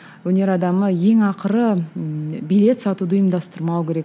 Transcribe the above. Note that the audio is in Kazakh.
өнер адамы ең ақыры ы билет сатуды ұйымдастырмау керек